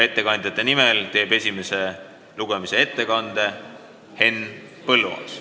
Ettekandjate nimel teeb esimese lugemise ettekande Henn Põlluaas.